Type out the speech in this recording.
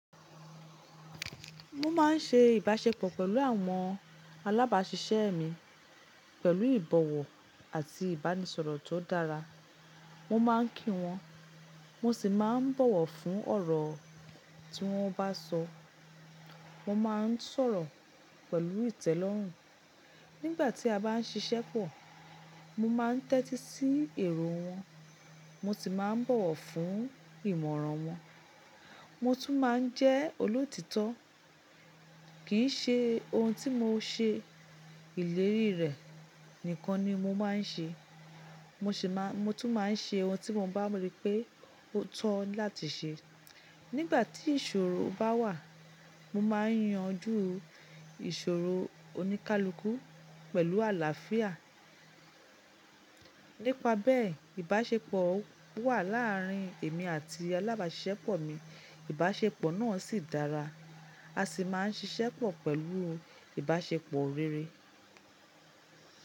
Mo máa ń ṣe ìbáṣepọ̀ pẹ̀lú àwọn alábáṣiṣẹ́ mi pẹ̀lú ìbọ̀wọ̀ àti ìbánisọ̀rọ̀ tó dára. Mo máa ń kí wọn, mo sì máa ń bọ̀wọ̀ fún ọ̀rọ̀ tí wọ́n bá sọ. Mo máa ń sọ̀rọ̀ pẹ̀lú ìtẹ́lọ́rùn. Nígbà tí a bá ń ṣiṣẹ́ pọ̀, mo máa ń tẹ́tí sí èrò wọn, mo sì máa ń bọ̀wọ̀ fún ìmọ̀ràn wọn. Mo tún máa ń jẹ́ olótítọ́. Kìí ṣe ohun tí mo ṣe ìlérí rẹ̀ nìkan ni mo máa ń ṣe. Mo tún máa ń ṣe ohun tí mo bá rí pé ó tọ́ láti ṣe. Nígbà tí ìṣòro bá wà, mo máa ń yanjú ìṣòro oníkálukú pẹ̀lú àlàáfíà. Nípa bẹ́ẹ̀, ìbáṣepọ̀ wà láàárín èmi àti alábáṣiṣẹ́ pọ̀ mi. Ìbáṣepọ̀ náà sì dára. A sì máa ń ṣiṣẹ́ pọ̀ pẹ̀lú ìbáṣepọ̀ rere.